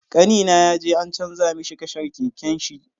Kanina yaje an canza mishi kashar keken shi.